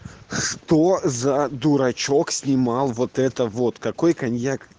что за дурачок снимал вот это вот какой коньяк